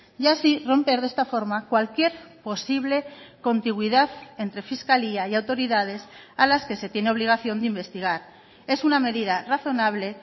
y así romper de esta forma cualquier posible contigüidad entre fiscalía y autoridades a las que se tiene obligación de investigar es una medida razonable